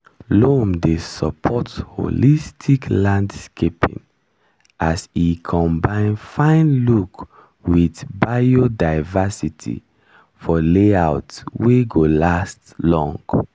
loam dey support holistic landscaping as e combine fine look with biodiversity for layout wey go last long.